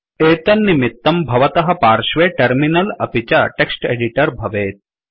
एतन्निमित्तं भवतः पार्श्वे टर्मिनल अपि च टेक्स्ट् एडिटर भवेत्